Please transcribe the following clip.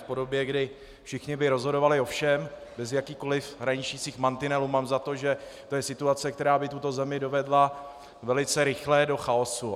V podobě, kdy všichni by rozhodovali o všem bez jakýchkoli hraničících mantinelů, mám za to, že to je situace, která by tuto zemi dovedla velice rychle do chaosu.